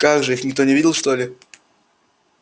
как же их никто не видел что ли